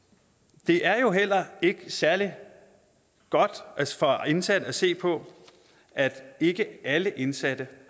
det er jo heller ikke særlig godt for indsatte at se på at ikke alle indsatte